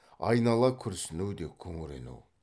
айнала күрсіну де күңірену